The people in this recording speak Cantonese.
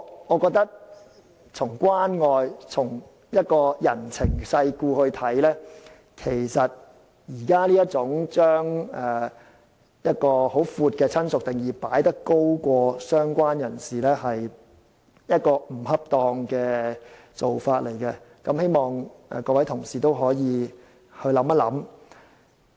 我覺得從關愛、從人情世故來看，現時在優先權上把定義很廣闊的"親屬"放在"相關人士"之上，是不恰當的做法，希望各位同事可以想想。